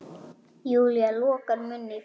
Júlía lokar munni í flýti.